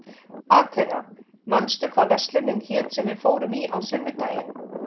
Atena, manstu hvað verslunin hét sem við fórum í á sunnudaginn?